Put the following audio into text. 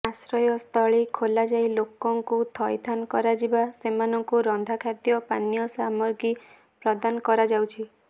ଆଶ୍ରୟସ୍ଥଳୀ ଖୋଲାଯାଇ ଲୋକଙ୍କୁ ଥଇଥାନ କରାଯିବା ସେମାନଙ୍କୁ ରନ୍ଧା ଖାଦ୍ୟ ପାନୀୟ ସାମଗ୍ରୀ ପ୍ରଦାନ କରାଯାଉଛି